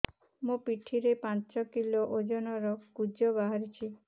ମୋ ପିଠି ରେ ପାଞ୍ଚ କିଲୋ ଓଜନ ର କୁଜ ବାହାରିଛି